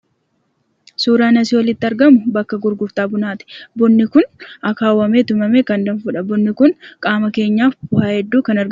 Suuraan asiin olitti argamu bakka gurgurtaa bunaati. Bunni kun akaawwamee tumamee kan dhugamudha. Bunni kun faayidaalee hedduu qaama keenyaaf qaba.